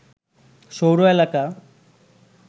সৌর এলাকা